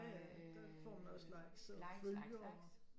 Ja ja der får man også likes og følgere